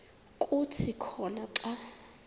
kuthi khona xa